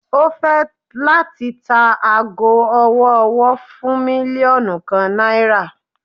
O fẹ lati ta aago ọwọ-ọwọ fun milionu kan naira